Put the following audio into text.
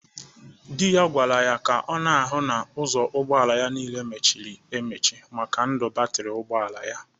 Di ya kwara ya ka ọ na-ahụ na ụzọ ụgbọala ya niile mechiri emeche maka ndụ batịrị ụgbọala ya.